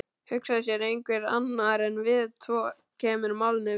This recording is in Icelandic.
Hugsa sér: einhver annar en við tvö kemur málinu við.